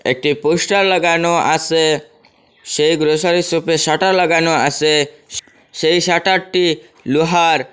একটি পোস্টার লাগানো আসে সেই গ্রসারি শপে শাটার লাগানো আসে স্ সেই শাটারটি লোহার।